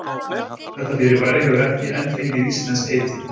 Þetta fyrirbæri hefur ekki enn fengið íslenskt heiti.